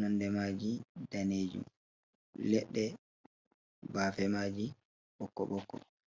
nonde maji danejum, ledde bafe maji bokko bokko.